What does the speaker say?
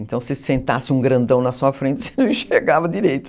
Então, se sentasse um grandão na sua frente, você não enxergava direito.